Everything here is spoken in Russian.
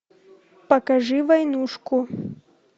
покажи войнушку